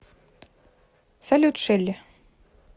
салют шелли